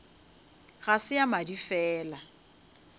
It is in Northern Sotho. ga se ya madi fela